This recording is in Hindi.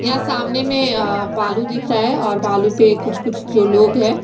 यहाँ सामने में भालू दिख रहा है भालू पर कुछ कुछ जो लोग है।